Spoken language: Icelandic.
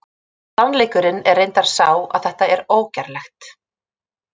Sannleikurinn er reyndar sá að þetta er ógerlegt!